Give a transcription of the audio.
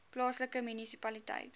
plaaslike munisipaliteit